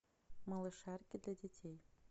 малышарики для детей